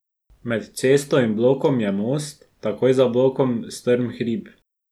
Med cesto in blokom je most, takoj za blokom strm hrib.